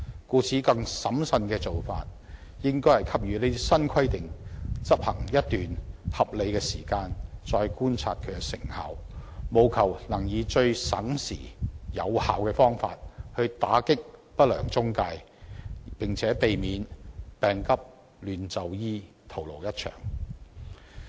故此，更審慎的做法應該是讓新規定執行一段合理時間後，才再觀察其成效，務求能以最省時、有效的方法打擊不良中介公司，並且避免病急亂投醫，徒勞一場。